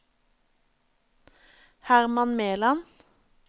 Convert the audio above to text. Hermann Meland